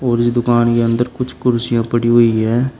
और इस दुकान के अंदर कुछ कुर्सियां पड़ी हुई हैं।